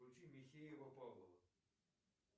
включи михеева павлова